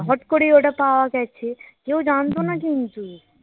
হঠাৎ করেই ওটা পাওয়া গেছে কেউ জানতো না কিন্তু